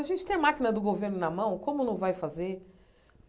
A gente tem a máquina do governo na mão, como não vai fazer?